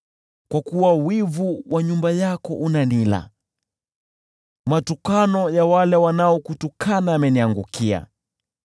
Kwa kuwa wivu wa nyumba yako unanila, matukano ya wale wanaokutukana yameniangukia.